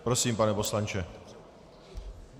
Prosím, pane poslanče.